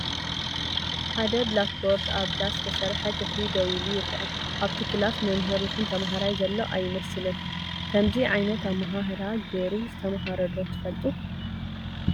ሓደ ብላክቦርድ ኣብ ብዳስ ዝተሰርሐ ክፍሊ ደው ኢሉ ይረአ፡፡ ኣብቲ ክላስ መምህር ይኹን ተምሃራይ ዘሎ ኣይመስልን፡፡ ከምዚ ዓይነት ኣመሃህራ ጌሩ ዝተማሃረ ዶ ትፈልጡ?